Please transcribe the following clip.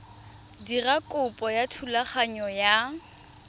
dira kopo ya thulaganyo ya